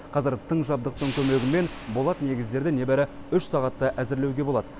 қазір тың жабдықтың көмегімен болат негіздерді небары үш сағатта әзірлеуге болады